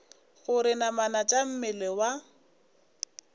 gore namana tša mmele wa